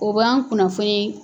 O b'an kunnafoni